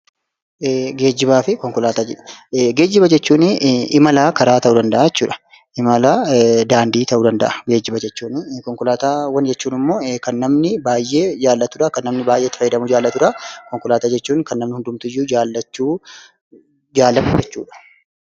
Geejjibaafi konkolaataa jedha. Geejjibaafi konkolaataa jechuuni imala daandii ta'uu danda'a. Geejjiba jechuunii. Konkolaataawwan jechuuni kan namni baayyeen jaalatudha. kan namni baayyeen itti fayyadamu jaalatudhaa. Konkolaataa jechuun kan namni hundumtiyyuu jaalachuu, jaalatu jechuudha.